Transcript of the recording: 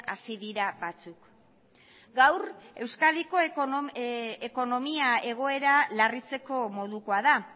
hasi dira batzuk gaur euskadiko ekonomia egoera larritzeko modukoa da